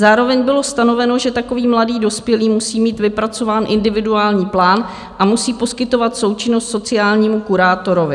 Zároveň bylo stanoveno, že takový mladý dospělý musí mít vypracován individuální plán a musí poskytovat součinnost sociálnímu kurátorovi.